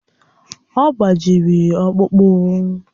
Ọ gbajiri ọkpụkpụ?